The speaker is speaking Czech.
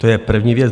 To je první věc.